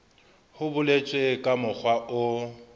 ho boletswe ka mokgwa o